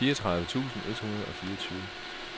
fireogtredive tusind et hundrede og fireogtyve